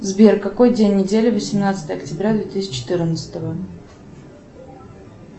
сбер какой день недели восемнадцатое октября две тысячи четырнадцатого